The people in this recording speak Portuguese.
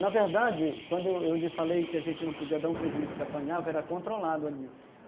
Na verdade, quando eu eu lhe falei que a gente não podia dar um prejuízo que apanhava, era controlado ali.